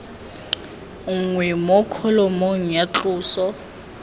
nngwe mo kholomong ya tloso